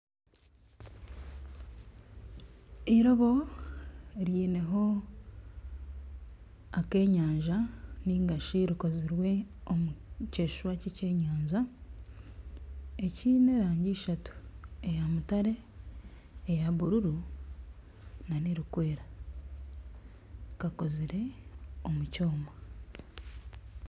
Eirobo riineho akenyanja nari rikozirwe omu keshusha kekyenyanja ekiine erangi ishatu eya mutare, eya bururu nana erikwera kakozire omu kyoma.